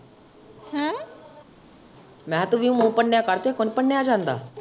ਮੈਂ ਤੇ ਕਿਹਾ ਮੂੰਹ ਭੰਨਿਆ ਕਰ ਤੇਰੇ ਕੋ ਨੀ ਭੰਨਿਆ ਜਾਂਦਾ।